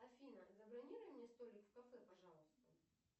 афина забронируй мне столик в кафе пожалуйста